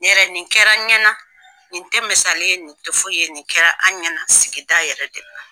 Ne yɛrɛ nin kɛra an ɲɛna, nin tɛ misali ye, nin tɛ fo i ye nin kɛra an ɲɛna sigida yɛrɛ de la.